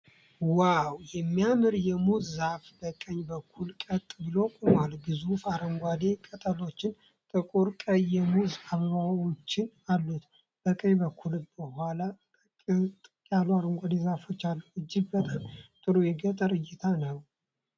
ዋው! የሚያምር የሙዝ ዛፍ በቀኝ በኩል ቀጥ ብሎ ቆሟል። ግዙፍ አረንጓዴ ቅጠሎችና ጥቁር ቀይ የሙዝ አበባዎች አሉት። በቀኝ በኩልና ከኋላ ጥቅጥቅ ያሉ አረንጓዴ ዛፎች አሉ። እጅግ በጣም ጥሩ የገጠር እይታ ነው።